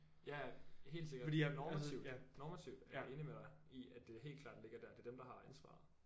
Ja ja helt sikkert normativt normativt er jeg enig med dig i at det helt klart ligger der det er dem der har ansvaret